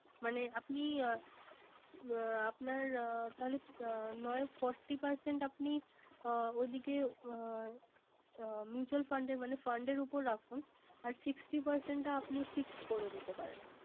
মানে আপনি আহ আপনার তালে নয় Forty percent আপনি ওদিকে অ Mutual fund মানে fund এর উপর রাখুন। আর Sixty percent টা আপনি Fixed করে দিতে পারেন।